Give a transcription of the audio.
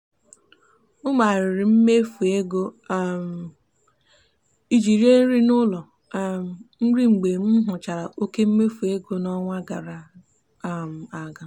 e mezigharịrị m mmefu ego um ije rie nri n'ụlọ um nri mgbe m hụchara oké mmefu ego n'ọnwa gara um aga.